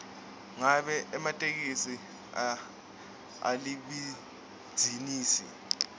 ngabe ematekisi alibhizinisi